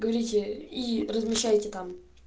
говорите и размешайте там